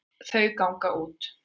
Þau ganga út.